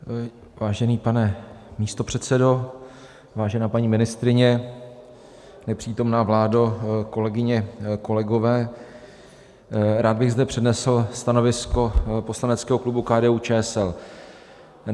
Vážený pane místopředsedo, vážená paní ministryně, nepřítomná vládo , kolegyně, kolegové, rád bych zde přednesl stanovisko poslaneckého klubu KDU-ČSL.